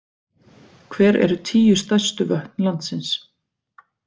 Hver eru tíu stærstu vötn landsins?